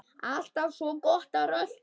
Alltaf svo gott að rölta.